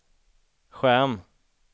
skärm